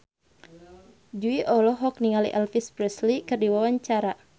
Jui olohok ningali Elvis Presley keur diwawancara